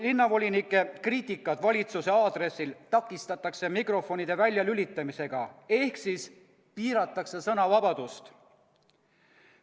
Linnavolinike kriitikat valitsuse aadressil takistatakse mikrofonide väljalülitamisega ehk siis piiratakse sõnavabadust.